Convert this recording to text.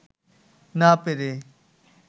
না পেরে